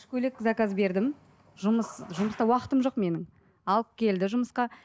көйлек заказ бердім жұмыс жұмыста уақытым жоқ менің алып келді жұмысқа